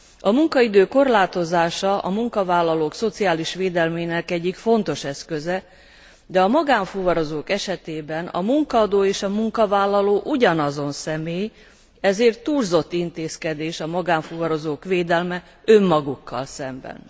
A munkaidő korlátozása a munkavállalók szociális védelmének egyik fontos eszköze, de a magánfuvarozók esetében a munkaadó és a munkavállaló ugyanazon személy, ezért túlzott intézkedés a magánfuvarozók védelme önmagukkal szemben.